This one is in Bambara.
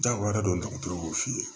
Jagoya do dɔgɔtɔrɔw b'o f'i ye